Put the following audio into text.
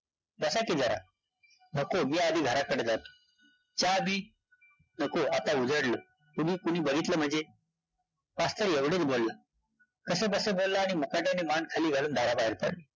बसा की जरा, नको, मी आधी घराकडं जातो चा-बी? नको, आता उजाडलं, उगीच कुणी बघीतलं म्हंजे, मास्तर एवढचं बोलला, कसं-बसं बोलला आणि मुकाट्याने मान खाली घालून दाराबाहेर पडला.